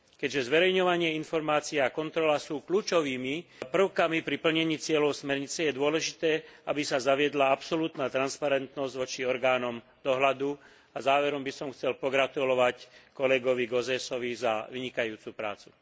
Keďže zverejňovanie informácií a kontrola sú kľúčovými prvkami pri plnení cieľov smernice, je dôležité, aby sa zaviedla absolútna transparentnosť voči orgánom dohľadu a na záver by som chcel pogratulovať kolegovi Gauzèsovi za vynikajúcu prácu.